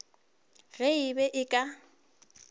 ge e be e ka